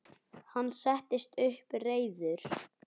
Hann settist upp, reiður.